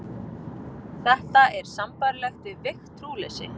Þetta er sambærilegt við veikt trúleysi.